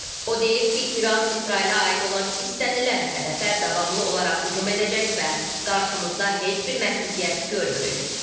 O deyib ki, İran İsrailə aid olan istənilən hədəfə davamlı olaraq hücum edəcək və qarşımızda heç bir məhdudiyyət görmürük.